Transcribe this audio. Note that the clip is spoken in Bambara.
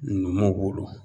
Numuw bolo.